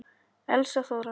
Elsa Þóra.